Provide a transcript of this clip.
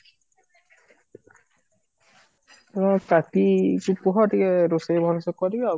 ହଁ ତାକି ସେ କୁହ ଟିକେ ରୋଷେଇ ଭଲ ସେ କରିବେ ଆଉ କଣ